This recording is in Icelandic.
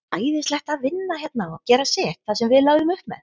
Æðislegt að vinna hérna og gera sitt, það sem við lögðum upp með.